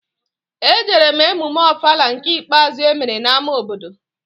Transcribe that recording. Ejere m emume Ofala nke ikpeazụ emere n'ámá obodo